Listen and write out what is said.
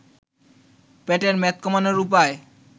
পেটের মেদ কমানোর উপায়